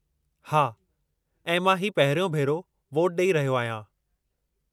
हा, ऐं मां ही पहिरियों भेरो वोटु ॾेई रहियो आहियां।